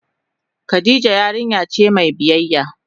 Khadijah yarinya ce mai biyyaya.